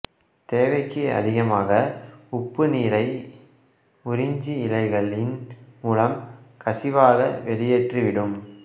தேவைக்கு அதிகமாக உப்பு நீரை உறிஞ்சி இலைகளின் மூலம் கசிவாக வெளியேற்றிவிடும்